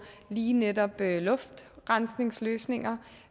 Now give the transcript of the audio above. lige netop luftrensningsløsninger